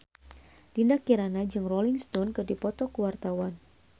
Dinda Kirana jeung Rolling Stone keur dipoto ku wartawan